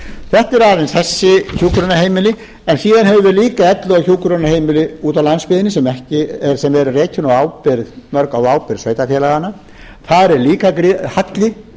þetta eru aðeins þessi hjúkrunarheimili en síðan höfum við líka elli og hjúkrunarheimili úti á landsbyggðinni sem eru rekin mörg á ábyrgð sveitarfélaganna þar er líka halli